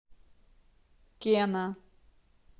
кена